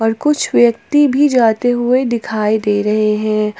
और कुच्छ व्यक्ति भी जाते हुए दिखाई दे रहे हैं।